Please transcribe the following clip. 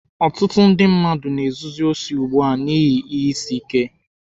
Ọtụtụ ndị mmadụ na-ezuzi osi ugbua n'ihi ihe isi ike.